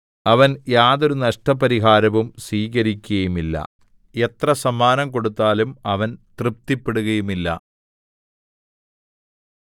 അവൻ യാതൊരു നഷ്ടപരിഹാരവും സ്വീകരിക്കുകയില്ല എത്ര സമ്മാനം കൊടുത്താലും അവൻ തൃപ്തിപ്പെടുകയുമില്ല